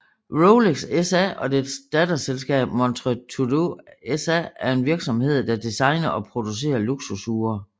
Rolex SA og dets datterselskab Montres Tudor SA er en virksomhed der designer og producerer luksusure